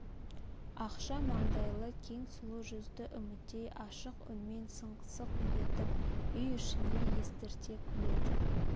ақша маңдайлы кең сұлу жүзді үмітей ашық үнмен сыңқ-сыңқ етіп үй ішіне естрте күледі